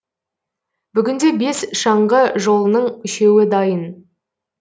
бүгінде бес шаңғы жолының үшеуі дайын